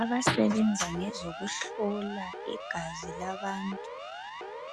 Abasebenza ngezokuhlola igazi labantu,